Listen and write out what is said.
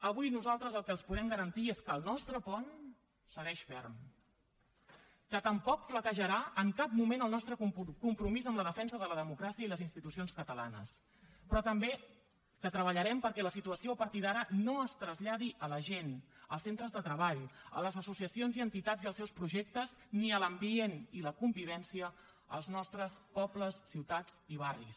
avui nosaltres el que els podem garantir és que el nostre pont segueix ferm que tampoc flaquejarà en cap moment el nostre compromís amb la defensa de la democràcia i les institucions catalanes però també que treballarem perquè la situació a partir d’ara no es traslladi a la gent als centres de treball a les associacions i entitats i als seus projectes ni a l’ambient i la convivència als nostres pobles ciutats i barris